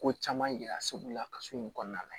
Ko caman yira segu la ka so in kɔnɔna la